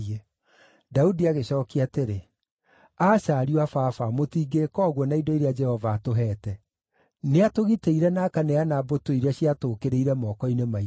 Daudi agĩcookia atĩrĩ, “Aca, ariũ a baba, mũtingĩĩka ũguo na indo iria Jehova atũheete. Nĩatũgitĩire na akaneana mbũtũ iria ciatũũkĩrĩire moko-inĩ maitũ.